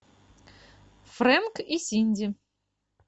фрэнк и синди